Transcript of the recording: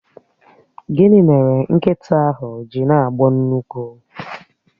Gịnị mere nkịta ahụ ji na-agbọ nnukwu?